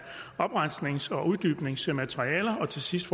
oprensnings og uddybningsmaterialer og til sidst